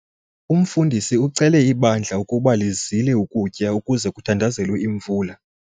Umfundisi ucele ibandla ukuba lizile ukutya ukuze kuthandazelwe imvula.